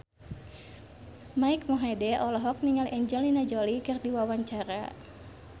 Mike Mohede olohok ningali Angelina Jolie keur diwawancara